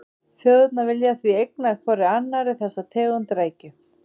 Þjóðirnar vilja því eigna hvorri annarri þessa tegund rækju.